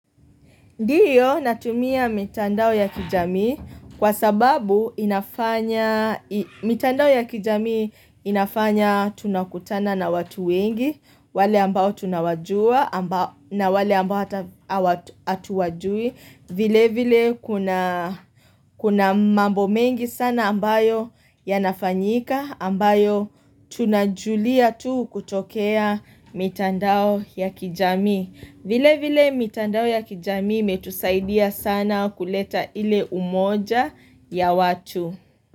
Ndiyo natumia mitandao ya kijamii kwa sababu inafanya, mitandao ya kijamii inafanya tunakutana na watu wengi, wale ambao tunawajua na wale ambao hatuwajui. Vile vile kuna mambo mengi sana ambayo yanafanyika ambayo tunajulia tu kutokea mitandao ya kijamii. Vile vile mitandao ya kijamii imetusaidia sana kuleta ile umoja ya watu.